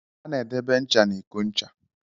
A na-edebe nchà n'iko nchà.